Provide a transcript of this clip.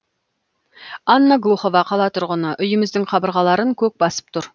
анна глухова қала тұрғыны үйіміздің қабырғаларын көк басып тұр